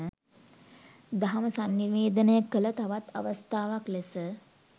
දහම සන්නිවේදනය කළ තවත් අවස්ථාවක් ලෙස,